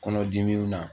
Kɔnɔdimiw na